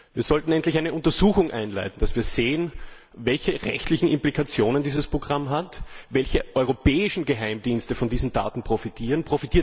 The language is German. Wir sollten eine Untersuchung einleiten, damit wir sehen, welche rechtlichen Implikationen dieses Programm hat, welche europäischen Geheimdienste von diesen Daten profitieren.